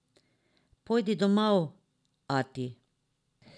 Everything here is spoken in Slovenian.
Pojdi domov, ati!